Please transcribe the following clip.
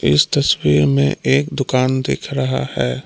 इस तस्वीर में एक दुकान दिख रहा है।